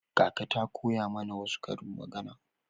Kaka ta koya mana wasu karin magana.